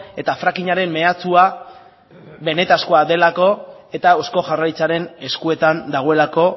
eta frackingaren mehatxua benetakoa delako eta eusko jaurlaritzaren eskuetan dagoelako